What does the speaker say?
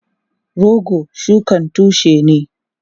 Rogo shukan tushe ne.